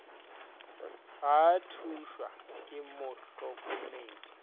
ga a thušwe ke mohlokomedi